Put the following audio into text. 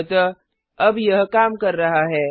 अतः अब यह काम कर रहा है